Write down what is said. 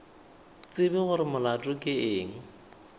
tsebe gore molato ke eng